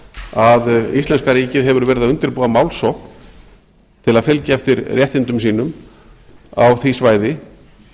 að íslenska ríkið hefur verið að undirbúa mál á til að fylgja eftir réttindum sínum á því svæði